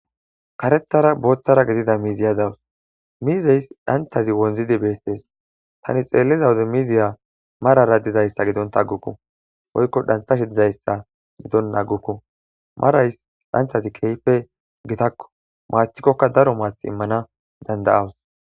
karethara booththara gidida miiziya dawus miizeys dhancthazi wonzidi beettes tani xeelliza wuze miziya marara dizayssa gidonta aggukku oykko dhanthashi dizayssa g gidon naggukku marays dhanchazi keyfe gitakku maastikkokka daro maath immana danda7awus